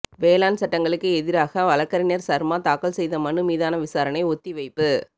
வேளாண் சட்டங்களுக்கு எதிராக வழக்கறிஞர் சர்மா தாக்கல் செய்த மனு மீதான விசாரணை ஒத்திவைப்பு